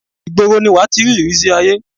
ìgboro ni wàá ti rí ìrísí àiyé